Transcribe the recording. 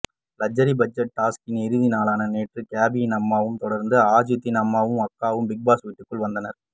luxury budget டாஸ்க்கின் இறுதி நாளான நேற்று கேபியின் அம்மாவை தொடர்ந்து ஆஜித்தின் அம்மாவும் அக்காவும் பிக்பாஸ் வீட்டுக்குள் வந்தனர்